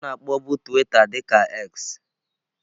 A na-akpọbu twitter dị ka X.